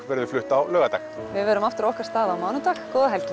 verður flutt á laugardag við verðum aftur á okkar stað á mánudag góða helgi